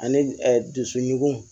Ani dusukun